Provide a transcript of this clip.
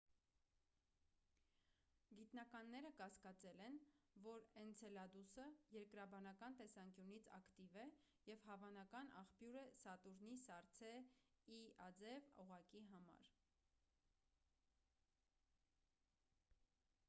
գիտնականները կասկածել են որ էնցելադուսը երկրաբանական տեսանկյունից ակտիվ է և հավանական աղբյուր է սատուրնի սառցե e-աձև օղակի համար: